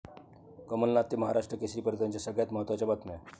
कमलनाथ ते महाराष्ट्र केसरीपर्यंतच्या सगळ्यात महत्त्वाच्या बातम्या